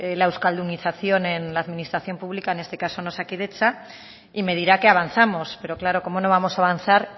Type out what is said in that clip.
la euskaldunización en la administración pública en este caso en osakidetza y me dirá que avanzamos pero claro cómo no vamos a avanzar